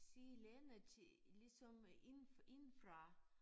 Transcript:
Se landet til ligesom ind indefra